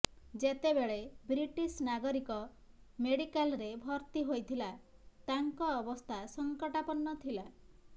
ଯେତେବେଳେ ବ୍ରିଟିଶ ନାଗରିକ ମେଡିକାଲରେ ଭର୍ତ୍ତି ହୋଇଥିଲା ତାଙ୍କ ଅବସ୍ଥା ସଙ୍କଟାପର୍ଣ୍ଣ ଥିଲା